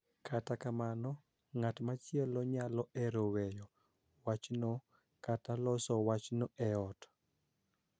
Kata kamano, ng�at machielo nyalo hero weyo wachno kata loso wachno e ot.